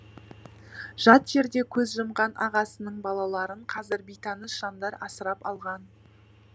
жат жерде көз жұмған ағасының балаларын қазір бейтаныс жандар асырап алған